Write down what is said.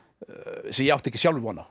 sem ég átti ekki sjálfur von á